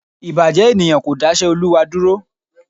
Ìbàjẹ́ ènìyàn kò dáṣẹ́ Olúwa dúró